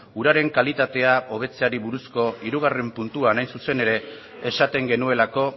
uraren kalitatea hobetzeari buruzko hirugarren puntuan hain zuzen ere esaten genuelako